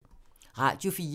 Radio 4